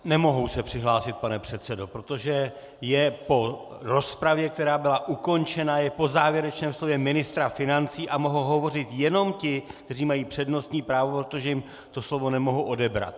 Nemohou se přihlásit, pane předsedo, protože je po rozpravě, která byla ukončena, je po závěrečném slově ministra financí a mohou hovořit jenom ti, kteří mají přednostní právo, protože jim to slovo nemohu odebrat.